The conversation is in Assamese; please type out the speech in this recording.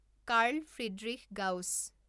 Carl Friedrich Gauss